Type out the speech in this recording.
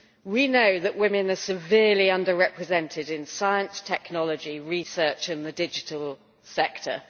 We know that women are severely under represented in science, technology, research and the digital sector.